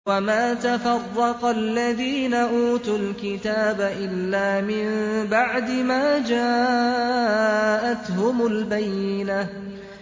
وَمَا تَفَرَّقَ الَّذِينَ أُوتُوا الْكِتَابَ إِلَّا مِن بَعْدِ مَا جَاءَتْهُمُ الْبَيِّنَةُ